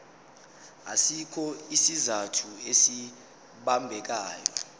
asikho isizathu esibambekayo